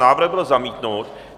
Návrh byl zamítnut.